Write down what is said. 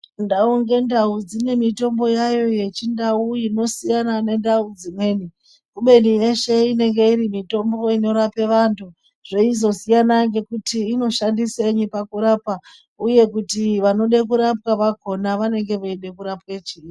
Ndau ngendau dzine mitombo yayo yechindau inosiyana nendau dzimweni kubeni yeshe iri mitombo inorapa vantu zveyizosiyana ngekuti inoshandisenyi pakurapa uye kuti vanoda kurapwa vakona vanenge veyide kurapwe chini.